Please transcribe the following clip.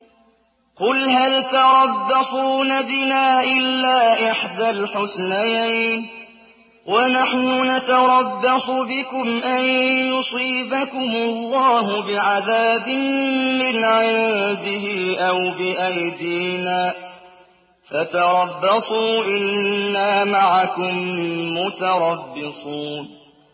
قُلْ هَلْ تَرَبَّصُونَ بِنَا إِلَّا إِحْدَى الْحُسْنَيَيْنِ ۖ وَنَحْنُ نَتَرَبَّصُ بِكُمْ أَن يُصِيبَكُمُ اللَّهُ بِعَذَابٍ مِّنْ عِندِهِ أَوْ بِأَيْدِينَا ۖ فَتَرَبَّصُوا إِنَّا مَعَكُم مُّتَرَبِّصُونَ